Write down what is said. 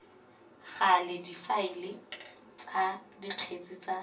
gale difaele tsa dikgetse tsa